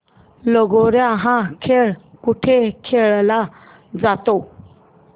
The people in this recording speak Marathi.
लगोर्या हा खेळ कुठे खेळला जातो